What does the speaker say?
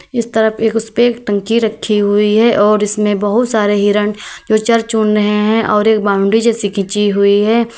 इस तरफ एक उस पे एक टंकी रखी हुई है और इसमें बहुत सारे हिरण जो चर चुन रहे हैं और एक बाउंड्री जैसे खींची हुई है।